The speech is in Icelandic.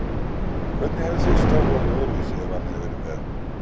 Hvernig hefði þitt starf orðið öðruvísi ef hann hefði verið með?